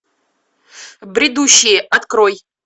бредущие открой